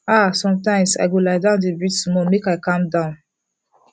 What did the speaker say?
ah sometimes i go lie down dey breathe small make i calm down